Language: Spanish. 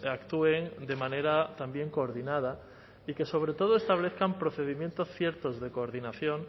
actúen de manera también coordinada y que sobre todo establezcan procedimientos ciertos de coordinación